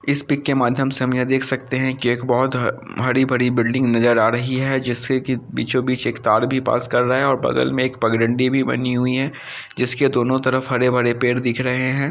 इस पिक के माध्यम से हम यह देख सकते हैं की एक बहुत हरी-भरी बिल्डिंग नजर आ रही है जिससे की बीचो-बीच तार भी पास कर रहे है और बगल में एक पगडंडी भी बनी हुई है जिसके दोनों तरफ हरे-भरे पेड़ दिख रहे हैं।